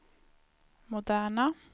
moderna